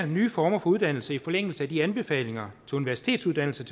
nye former for uddannelse i forlængelse af de anbefalinger til universitetsuddannelser